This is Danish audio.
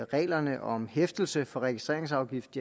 reglerne om hæftelse for registreringsafgift